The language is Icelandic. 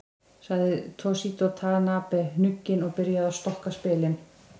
Sagði Toshizo Tanabe hnugginn og byrjaði að stokka spilin.